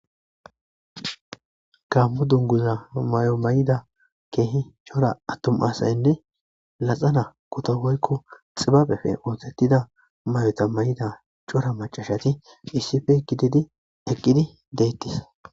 kammo dunguza may7o may7ida keehi cora attom asaynne laxana kuto woykko xibabefe ootettida may7ota may7ida cora macashati iisif kididi eqqidi deettis